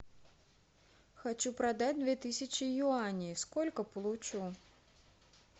хочу продать две тысячи юаней сколько получу